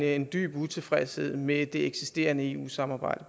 en dyb utilfredshed med det eksisterende eu samarbejde